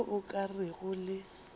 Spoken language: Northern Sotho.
le o ka rego le